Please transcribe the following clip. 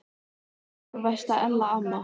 Elsku besta Ella amma.